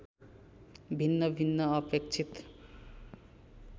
भिन्न भिन्न अपेक्षित